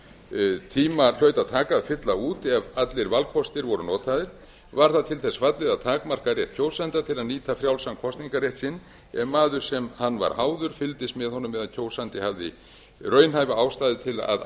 nokkurn tíma hlaut að taka að fylla út ef allir valkostir voru notaðir var það til þess fallið að takmarka rétt kjósenda til að nýta frjálsan kosningarrétt sinn ef maður sem hann var háður fylgdist með honum eða kjósandi hafði raunhæfa ástæðu til að